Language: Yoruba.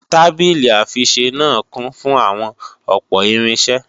Tábìlì-àfiṣisẹ́ náà kún fún àwọn ọ̀pọ̀ irinṣẹ́